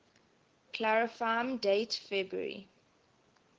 clarifyme date february